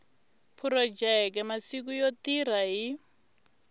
phurojeke masiku yo tirha hi